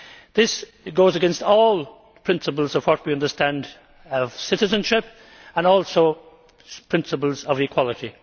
This goes against all the principles of what we understand of citizenship and also the principles of equality.